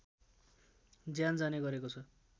ज्यान जाने गरेको छ